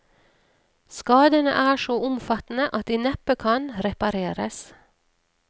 Skadene er så omfattende at de neppe kan repareres.